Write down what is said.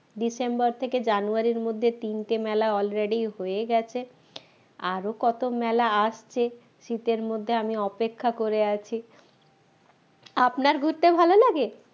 December থেকে জানুয়ারি এর মধ্যে already তিনটে মেলা হয়ে গেছে আরো কত মেলা আসছে শীতের মধ্যে আমি অপেক্ষা করে আছি আপনার ঘুরতে ভালো লাগে?